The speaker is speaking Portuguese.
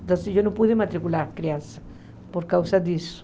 Então, eu não pude matricular crianças por causa disso.